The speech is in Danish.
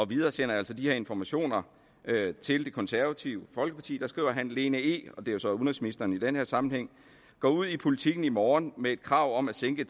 videresender altså de her informationer til det konservative folkeparti og skriver lene e og det er jo så udenrigsministeren i den her sammenhæng går ud i politiken i morgen med et krav om at sænke